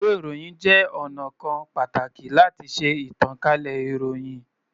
Ìwé-ìròyìn jẹ́ ọnà kan pàtàkì láti ṣe ìtànkálẹ̀ ìròyìn.